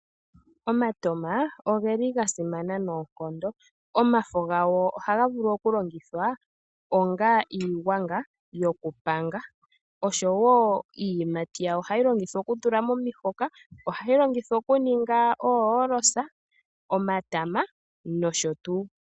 Omatoma oga simana noonkondo, omafo gawo ohaga vulu okulongithwa onga iigwanga yokupanga oshowo iiyimati yawo ohayi longithwa okutulwa momihoka, ohayi longithwa kuninga oohoolosa, omatama nosho tuu.